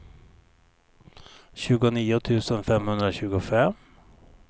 tjugonio tusen femhundratjugofem